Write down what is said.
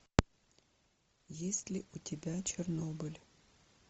есть ли у тебя чернобыль